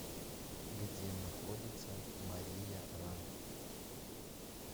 где находится мария ра